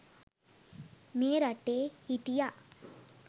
මේ රටේ හිටියා.